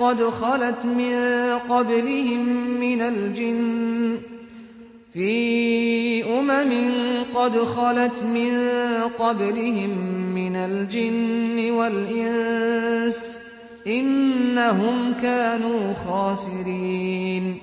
قَدْ خَلَتْ مِن قَبْلِهِم مِّنَ الْجِنِّ وَالْإِنسِ ۖ إِنَّهُمْ كَانُوا خَاسِرِينَ